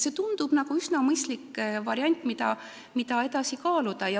See tundub nagu üsna mõistlik variant, mida võiks edasi kaaluda.